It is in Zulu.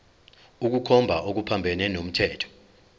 ukukhomba okuphambene nomthetho